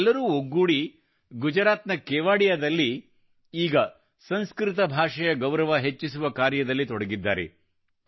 ಇವರೆಲ್ಲರೂ ಒಗ್ಗೂಡಿ ಗುಜರಾತ್ ನ ಕೇವಡಿಯಾದಲ್ಲಿ ಈಗ ಸಂಸ್ಕೃತ ಭಾಷೆಯ ಗೌರವ ಹೆಚ್ಚಿಸುವ ಕಾರ್ಯದಲ್ಲಿ ತೊಡಗಿದ್ದಾರೆ